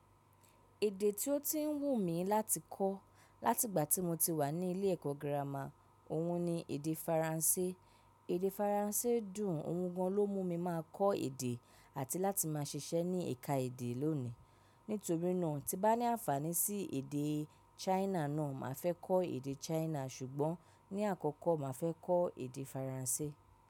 Èdè tí ó ti ń wù mí láti kọ́ láti ìgbà tí mo ti wà ní ilé ẹ̀kọ́ gírámà, òhun ni èdè Faransé. Èdè Faransé dùn, òhun gan lọ mú mi máa kọ́ èdè àti láti máa ṣiṣẹ́ ní ẹ̀ka èdè lónìí. Nítorí náà tí bá ní àǹfààní sí èdè China náà, màá fẹ́ kọ́ èdè China ṣùgbọ́n ní àkọ́kọ́ màá fẹ́ kọ́ èdè Faransé.